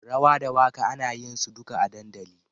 Rawa da waka ana yinsu duka a dandali.